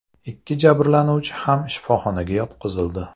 Ikki jabrlanuvchi ham shifoxonaga yotqizildi.